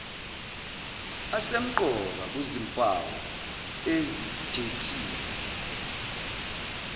asemqoka kuzimpawu ezikhethiwe